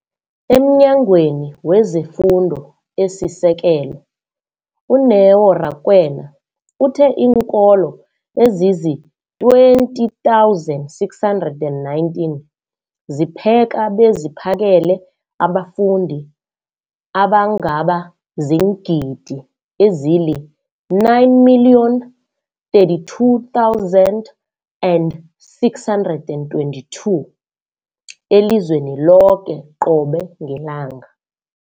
EmNyangweni wezeFundo esiSekelo, u-Neo Rakwena, uthe iinkolo ezizi-20 619 zipheka beziphakele abafundi abangaba ziingidi ezili-9 032 622 elizweni loke qobe ngelanga.